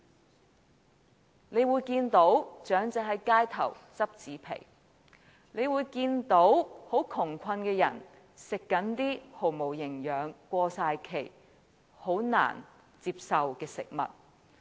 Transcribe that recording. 大家會看到長者在街頭撿拾紙皮，又會看到窮困的人吃一些毫無營養、難以接受的過期食物。